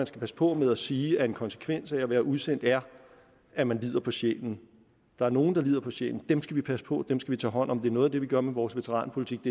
skal passe på med at sige at en konsekvens af at have været udsendt er at man lider på sjælen der er nogle af lider på sjælen og dem skal vi passe på og dem skal hånd om det noget af det vi gør med vores veteranpolitik